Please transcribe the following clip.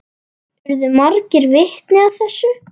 Urðu margir vitni að þessu.